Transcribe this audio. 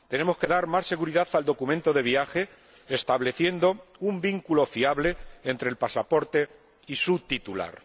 Tenemos que dar más seguridad al documento de viaje, estableciendo un vínculo fiable entre el pasaporte y su titular.